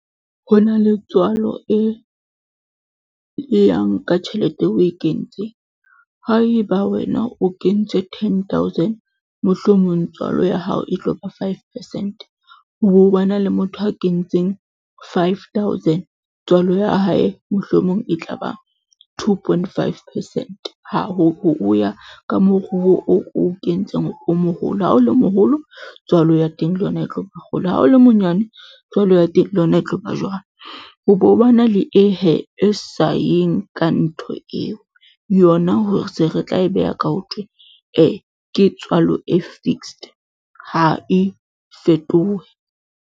Ho na le tswalo e, e yang ka tjhelete eo o e kentseng. Haeba wena o kentse ten thousand, mohlomong tswalo ya hao e tlo ba five percent ho bo ba na le motho a kentseng five thousand, tswalo ya hae mohlomong e tla ba two point, five percent. Ha ho ho ya ka moruo o o kentseng o moholo. Ha o le moholo, tswalo ya teng le yona e tlo ba kgolo ha o le monyane tswalo ya teng, le yona e tlo ba jwalo. Ho be ho ba na le eo hee e sa yeng ka ntho eo yona, hore se re tla e beha ka ho thwe e ke tswalo e fixed ha e fetohe.